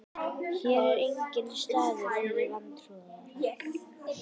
Hér er enginn staður fyrir vantrúaða.